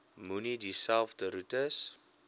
moenie dieselfde roetes